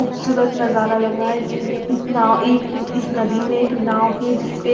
खूबसूरत नजारा लग रहा है इस न इस नाव एक अम्म इस नदी में एक नाव है जिस पे --